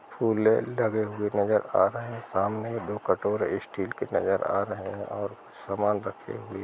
फूले लगे हुए नजर आ रहे हैं। सामने दो कटोरे स्टील के नजर आ रहे हैं और सामान रखे हुए --